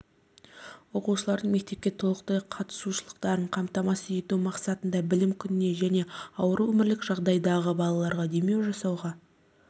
оқушылардың мектепке толықтай қатысушылықтарын қамтамасыз ету мақсатында білім күніне және ауыр өмірлік жағдайдағы балаларға демеу жасауға